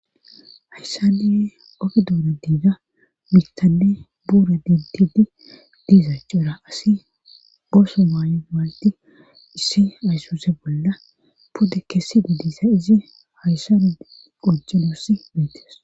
hayssani oge dunan diiga mitanne buure dintidi diisachura asi ooso maay7o mayi issi aysuse bolla pude kessi didissa izi hayssani qocci nuussi beetes